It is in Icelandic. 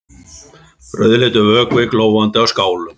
Rauðleitur vökvi glóandi á skálum.